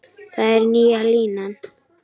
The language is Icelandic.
Það er nýja línan.